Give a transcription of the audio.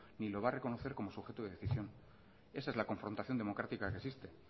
ni lo va a reconocer como su objeto de decisión esa es la confrontación democrática que existe